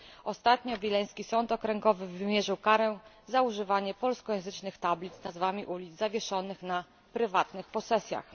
Ostatnio wileński sąd okręgowy wymierzył karę za używanie polskojęzycznych tablic z nazwami ulic zawieszonych na prywatnych posesjach.